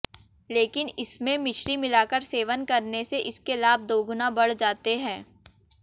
लेकिन इसमें मिश्री मिलाकर सेवन करने से इसके लाभ दोगुना बढ़ जाते हैं